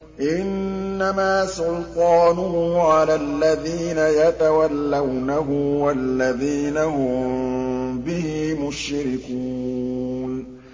إِنَّمَا سُلْطَانُهُ عَلَى الَّذِينَ يَتَوَلَّوْنَهُ وَالَّذِينَ هُم بِهِ مُشْرِكُونَ